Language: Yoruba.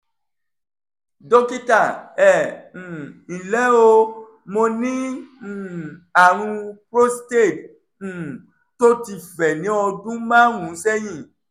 dókítà ẹ um ǹlẹ́ o mo ní um àrùn prostate um tó ti fẹ̀ ní ọdún márùn-ún sẹ́yìn